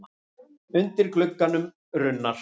Undir glugganum runnar.